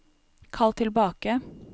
kall tilbake